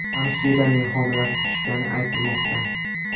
Hamshiraning homilasi tushgani aytilmoqda.